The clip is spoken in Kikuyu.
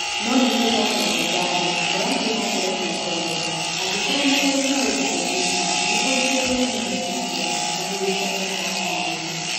No nĩ tũcokagia ngatho... tũrathiĩ na mbere kwĩhooreria, angĩkorũo nĩ ũrĩ na ũndũ ũngĩka, nĩ ũrihirĩrwo nĩ micĩria", mũthuri Kung'u aratarĩiria.